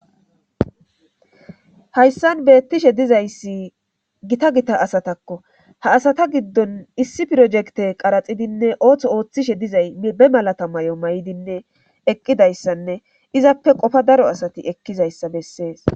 hayssan beettishe dizayssi gita gita asatakko ha asata giddon issi pirojekte qaraxidinne ooththo ooththishe dizay be malata may7o may7idinne eqqidayssanne izappe qofa daro asati ekkizayssa bessees